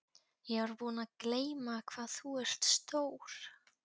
Ég var búin að gleyma hvað þú ert stór.